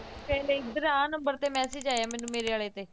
ਫੇਰ ਇੱਧਰ ਆਹ number ਤੇ message ਆਇਆ ਮੈਨੂੰ ਮੇਰੇ ਵਾਲੇ ਤੇ